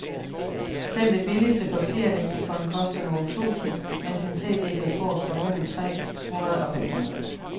Selv det billigste papirleksikon koster nogle tusinde, mens en cd kan fås for mellem tre hundrede og fem hundrede.